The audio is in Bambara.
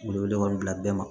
Wele wele ma bila bɛɛ ma